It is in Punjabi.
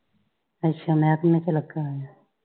ਅੱਛਾ ਮਹਿਕਮੇ ਚ ਲੱਗਾ ਹੋਇਆ।